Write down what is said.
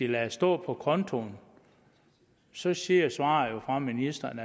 lader det stå på kontoen så siger svaret fra ministeren